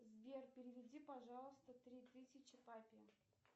сбер переведи пожалуйста три тысячи папе